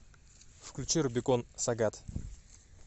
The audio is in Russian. включи рубикон сагат